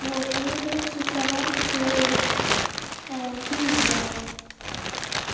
вот и нужно выписать слова которые ты не знаешь